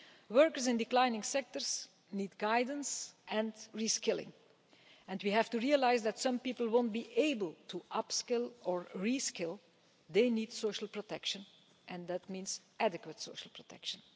Workers in declining sectors need guidance and re skilling, and we have to realise that some people won't be able to upskill or re skill they need social protection, and that means adequate social protection.